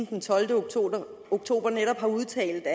den tolvte oktober oktober netop udtalte